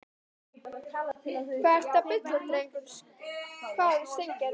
Hvað ertu að bulla drengur? hváði Steingerður.